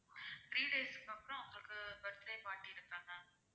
three days க்கு அப்பறம் உங்களுக்கு birthday party இருக்கு அதான